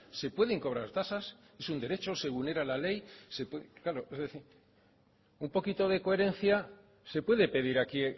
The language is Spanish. se pueden cobrar tasas es un derecho se vulnera la ley un poquito de coherencia se puede pedir aquí